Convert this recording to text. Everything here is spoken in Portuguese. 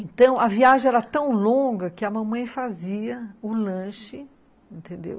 Então, a viagem era tão longa que a mamãe fazia o lanche, entendeu?